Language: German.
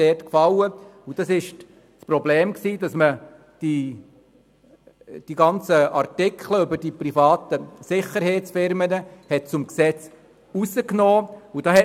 es betraf das Problem, dass man die Artikel zu den privaten Sicherheitsfirmen aus diesem Gesetz entfernt hat.